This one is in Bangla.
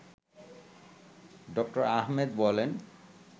ড: আহমেদ বলেন